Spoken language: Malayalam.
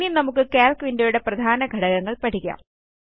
ഇനി നമുക്ക് കാൽക്ക് വിൻഡോ യുടെ പ്രധാന ഘടകങ്ങൾ പഠിക്കാം